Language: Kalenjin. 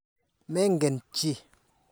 Mengen chi.